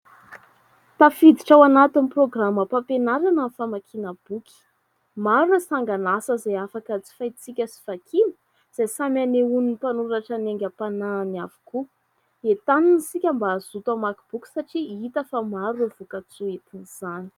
Tafiditra ao anatin'ny programam-pampianarana ny famakiana boky. Maro ny sangan'asa izay afaka jifaintsika sy vakiana izay samy anehoan'ny mpanoratra ny haingam-panahiny avokoa. Entanina isika mba hazoto hamaky boky satria hita fa maro ireo vokatsoa entin'izany.